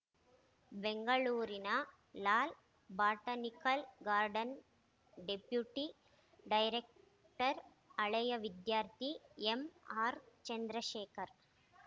ಬೆಂಗಳೂರಿನ Lal botanical garden deputy director ಹಳೇಯ ವಿದ್ಯಾರ್ಥಿ ಎಂಆರ್‌ ಚಂದ್ರಶೇಖರ್‌